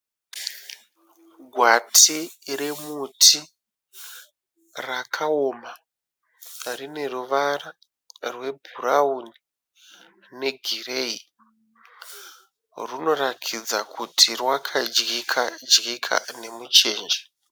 Gwati remuti rakaoma rine ruvara rwebhurauni negireyi. Runoratidza kuti rwakadyika dyika nemuchenje.